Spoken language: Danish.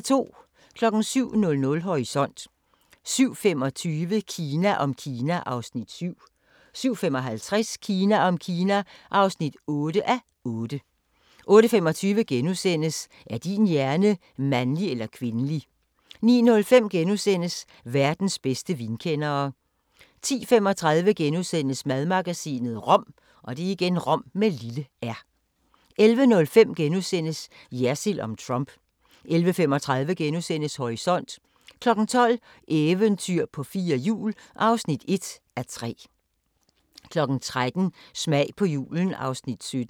07:00: Horisont 07:25: Kina om Kina (7:8) 07:55: Kina om Kina (8:8) 08:25: Er din hjerne mandlig eller kvindelig? * 09:05: Verdens bedste vinkendere * 10:35: Madmagasinet – rom * 11:05: Jersild om Trump * 11:35: Horisont * 12:00: Eventyr på fire hjul (1:3) 13:00: Smag på julen (Afs. 17)